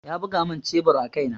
Ya buga mun shebur a kai na.